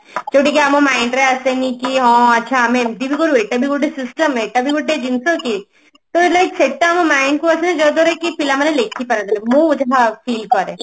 ସେ ଟିକେ ଆମ mind ରେ ଆସେନି କି ହଁ ଆଛା ଆମେ ଏମତି ବି କରୁ ଏଟା ବି ଗୋଟେ system ଏଟା ବି ଗୋଟେ ଜିନିଷ କି ତ like ସେଟା ଆମ mind କୁ ଆସେ ଯାଦ୍ବାରା ପିଲାମାନେ କେହି ଲେଖି ପାରନ୍ତିନି ମୁଁ ଯା feel କରେ